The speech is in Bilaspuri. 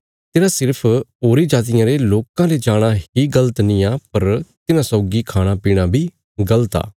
तेरा सिर्फ होरीं जातिया रे लोकां ले जाणा ही गल़त नींआ पर तिन्हां सौगी खाणा बी गल़त आ